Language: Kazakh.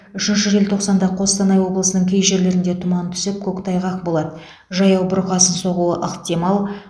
үшінші желтоқсанда қостанай облысының кей жерлерінде тұман түсіп көктайғақ болады жаяу бұрқасын соғуы ықтимал